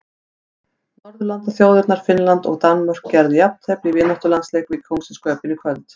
Norðurlandaþjóðirnar Finnland og Danmörk gerðu jafntefli í vináttulandsleik í Kóngsins Köben í kvöld.